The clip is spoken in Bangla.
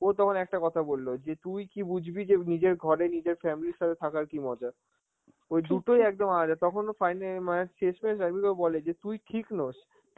ও তখন একটা কথা বলল, যে তুই কি বুঝবি যে নিজের ঘরে, নিজের family র সাথে থাকার কি মজা. ওই দুটোই একদম আলাদা, তখন ও fine~ অ্যাঁ মানে শেষমেষ রাণবীরকে বলে যে তুই ঠিক নস,